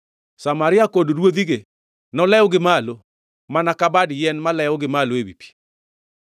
Samaria kod ruodhige nolew gi malo mana ka bad yien malewo gi malo ewi pi.